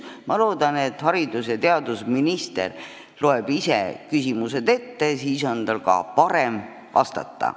Ma loodan, et haridus- ja teadusminister loeb ise küsimused ette, siis on tal ka parem vastata.